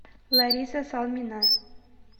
лариса салмина